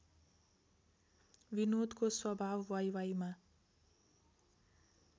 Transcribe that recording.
विनोदको स्वभाव वाइवाइमा